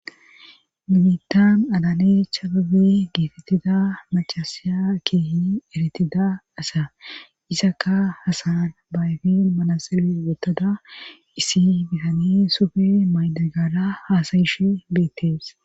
minitan adane chababe geetettida macasa keehi eretida asa isaka hasayan baayfin manasele wotada issi bihani sufe maydegara haasayishe beettes